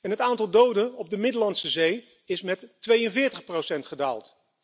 Het aantal doden op de Middellandse Zee is met 42 gedaald.